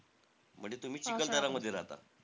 म्हणजे तुम्ही चिखलदऱ्यामध्ये राहतात ?